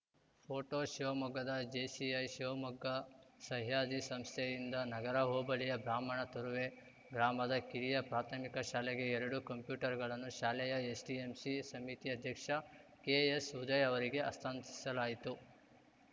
photo ಶಿವಮೊಗ್ಗದ JCI Shivamogga Sahyadri ಸಂಸ್ಥೆಯಿಂದ ನಗರ ಹೋಬಳಿಯ ಬ್ರಾಹ್ಮಣ ತುರುವೆ ಗ್ರಾಮದ ಕಿರಿಯ ಪ್ರಾಥಮಿಕ ಶಾಲೆಗೆ ಎರಡು ಕಂಪ್ಯೂಟರ್‌ಗಳನ್ನು ಶಾಲೆಯ ಎಸ್‌ಡಿಎಂಸಿ ಸಮಿತಿ ಅಧ್ಯಕ್ಷ ಕೆಎಸ್‌ಉದಯ್‌ ಅವರಿಗೆ ಹಸ್ತಾಂತರಿಸಲಾಯಿತು